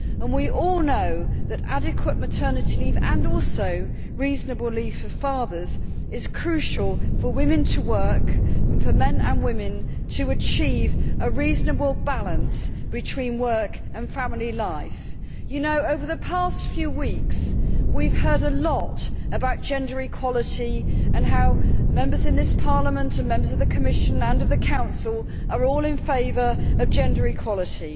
We all know that adequate maternity leave, and also reasonable leave for fathers, is crucial for women to work and for men and women to achieve a reasonable balance between work and family life. Over the past few weeks, we have heard a lot about gender equality and how Members of this Parliament and of the Commission and the Council are all in favour of gender equality.